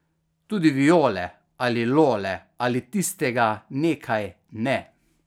Tudi Viole ali Lole ali tistega Nekaj ne.